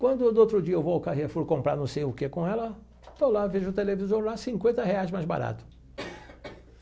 Quando no outro dia eu vou ao Carrefour comprar não sei o que com ela, estou lá, vejo o televisor lá, cinquenta reais mais barato.